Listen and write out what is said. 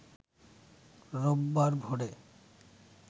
রোববার ভোরে